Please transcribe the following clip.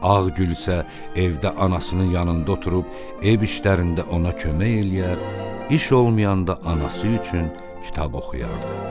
Ağgülsə evdə anasının yanında oturub, ev işlərində ona kömək eləyər, iş olmayanda anası üçün kitab oxuyardı.